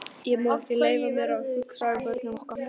Ég má ekki leyfa mér að hugsa um börnin okkar.